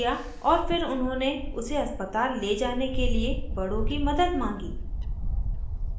और फिर उन्होंने उसे अस्पताल ले जाने के लिए बड़ों की मदद मांगी